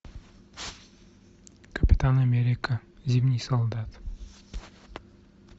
капитан америка зимний солдат